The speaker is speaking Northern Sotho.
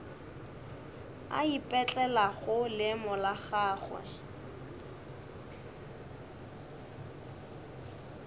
a ipetlelago leemo la gagwe